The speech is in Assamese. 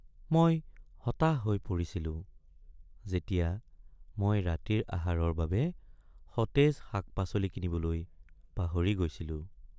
মই হতাশ হৈ পৰিছিলো যেতিয়া মই ৰাতিৰ আহাৰৰ বাবে সতেজ শাক-পাচলি কিনিবলৈ পাহৰি গৈছিলো।